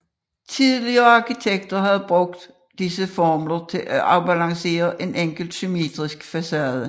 Tidligere arkitekter havde brugt disse formler til at afbalancere en enkelt symmetrisk facade